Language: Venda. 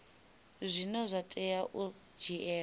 zwine zwa tea u dzhielwa